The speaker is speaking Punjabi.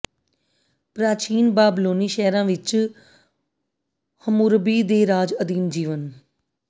ਪ੍ਰਾਚੀਨ ਬਾਬਲੋਨੀ ਸ਼ਹਿਰਾਂ ਵਿਚ ਹੰਮੁਰਬੀ ਦੇ ਰਾਜ ਅਧੀਨ ਜੀਵਨ